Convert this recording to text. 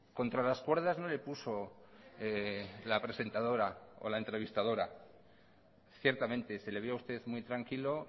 contra las cuerdas no le puso la presentadora o la entrevistadora ciertamente se le vio a usted muy tranquilo